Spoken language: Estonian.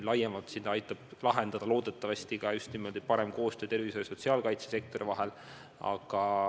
Laiemalt aitab probleemi loodetavasti lahendada just parem koostöö tervishoiu- ja sotsiaalkaitsesektori vahel.